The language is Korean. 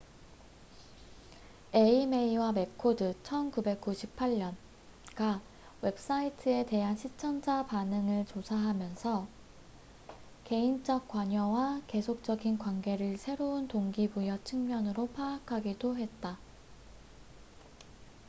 에이메이와 매코드1998가 웹사이트에 대한 시청자 반응을 조사하면서 '개인적 관여'와 '계속적인 관계'를 새로운 동기부여 측면으로 파악하기도 했다